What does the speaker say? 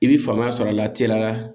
I bɛ faamuya sɔrɔ a la teliya la